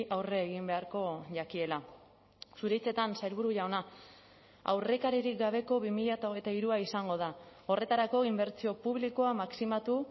aurre egin beharko jakiela zure hitzetan sailburu jauna aurrekaririk gabeko bi mila hogeita hirua izango da horretarako inbertsio publikoa maximatu